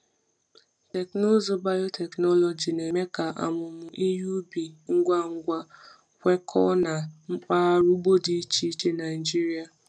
Teknụzụ Teknụzụ biotechnology na-eme ka amụmụ ihe ubi ngwa ngwa kwekọọ na mpaghara ugbo dị iche iche Naijiria.